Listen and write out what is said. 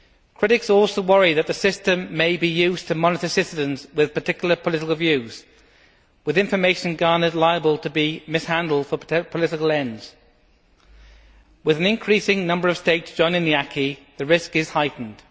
Critics also worry that the system may be used to monitor citizens with particular political views, with information garnered liable to be mishandled for political ends. With an increasing number of states joining the acquis, the risk is heightened.